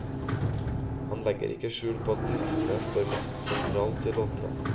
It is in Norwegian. Han legger ikke skjul på at tekstene står mest sentralt i låtene.